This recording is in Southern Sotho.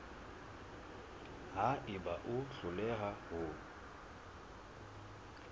ha eba o hloleha ho